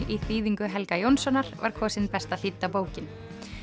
í þýðingu Helga Jónssonar var kosin besta þýdda bókin